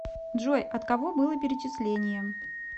джой от кого было перечисление